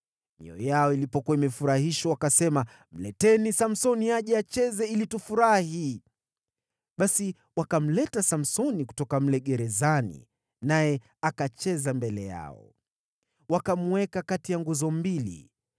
Mioyo yao ilipokuwa imefurahishwa wakasema, “Mleteni Samsoni aje acheze ili tufurahi.” Basi wakamleta Samsoni kutoka mle gerezani naye akacheza mbele yao. Wakamweka kati ya nguzo mbili.